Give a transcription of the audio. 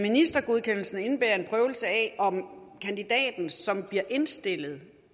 ministergodkendelsen indebærer en prøvelse af om kandidaten som bliver indstillet